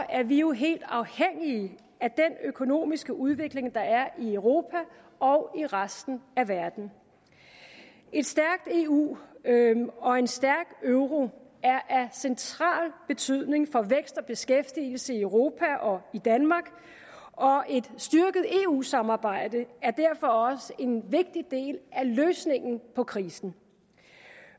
er vi jo helt afhængige af den økonomiske udvikling der er i europa og i resten af verden et stærkt eu og en stærk euro er af central betydning for vækst og beskæftigelse i europa og i danmark og et styrket eu samarbejde er derfor også en vigtig del af løsningen på krisen